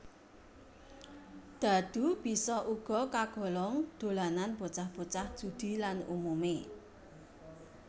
Dhadhu bisa uga kagolong dolanan bocah bocah judi lan umumé